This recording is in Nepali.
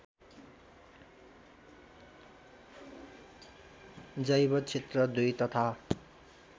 जैवक्षेत्र २ तथा